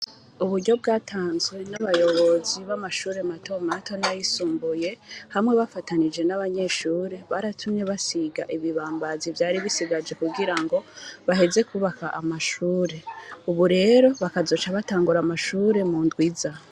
Uburyo bwatamzwe n'abayobozi b'amashure matomato n'ayisumbuye hamwe bafatanije n'abanyeshure , baratumye basiga ibibambazi vyari bisigaye kugira ngo baheze kwubaka amashure. Ubu rero bakazoca batangura amashure mu ndwi iza .